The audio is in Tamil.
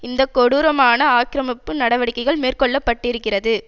இந்த கொடூரமான ஆக்கிரமிப்பு நடவடிக்கை மேற்கொள்ள பட்டிருக்கிறது